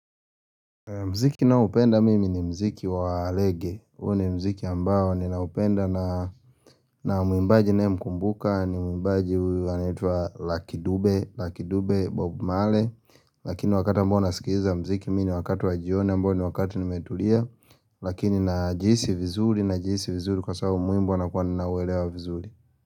Mziki ninaoupenda mimi ni mziki wa reggae, huu ni mziki ambao ninanoupenda na muimbaji naye mkumbuka ni muimbaji huyu anaitwa Luckydube, Luckydube Bob Marley Lakini wakati ambao nasikiliza mziki mimi ni wakati wa jioni ambao ni wakati nimetulia Lakini najihisi vizuri, najihisi vizuri kwa sababu muimbo nakuwa ninauwelewa vizuri.